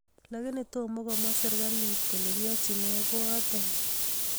Lakini toma komwaa serikali kole kiachin nee koato